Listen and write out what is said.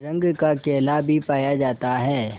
रंग का केला भी पाया जाता है